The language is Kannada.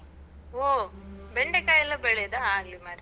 ಓ ಬೆಂಡೆಕಾಯೆಲ್ಲ ಬೆಳೆಯುದ? ಆಗ್ಲಿ ಮಾರ್ರೇ.